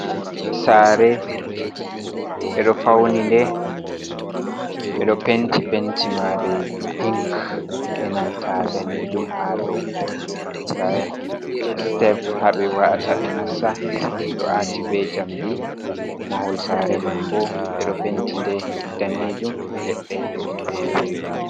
Sare ɓedo fauni nde ɓedo penti, penti mare pink e nanta danejum ha dou, nda step haɓe wa’ata ɓe nasta ɗo ati ɓe jamdi mahol sare man bo ɓeɗo penti nde danejum ledde.